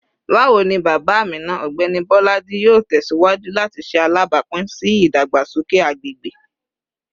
Bawo ni baba Amina, Ọgbẹni Bolaji, yoo tẹsiwaju lati ṣe alabapin si idagbasoke agbegbe?